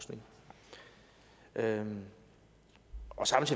at